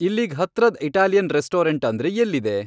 ಇಲ್ಲೀಗ್ ಹತ್ರದ್ Italian restaurant ಅಂದ್ರೆ ಎಲ್ಲಿದೆ